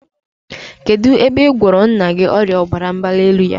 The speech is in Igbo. Kedụ ebe ị gwọrọ nna gị ọrịa ọbara mgbalielu ya?